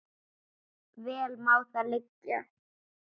Vel má það liggja.